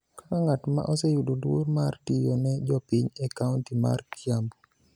Kaka ng'at ma oseyudo luor mar tiyo ne jopiny e kaonti mar Kiambu